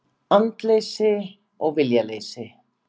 Andleysi og viljaleysi.